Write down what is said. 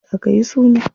Jiya akayi suna.